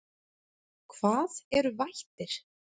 Hvað eru vættir?